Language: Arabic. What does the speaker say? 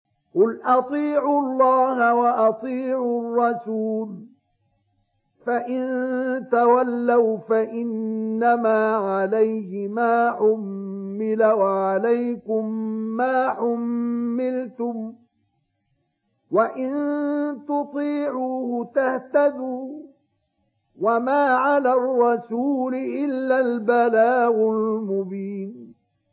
قُلْ أَطِيعُوا اللَّهَ وَأَطِيعُوا الرَّسُولَ ۖ فَإِن تَوَلَّوْا فَإِنَّمَا عَلَيْهِ مَا حُمِّلَ وَعَلَيْكُم مَّا حُمِّلْتُمْ ۖ وَإِن تُطِيعُوهُ تَهْتَدُوا ۚ وَمَا عَلَى الرَّسُولِ إِلَّا الْبَلَاغُ الْمُبِينُ